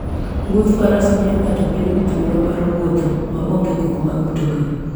Wuodh faras miyo ng'ato bedo gi thuolo mar wuotho ma onge koko mag mtokni.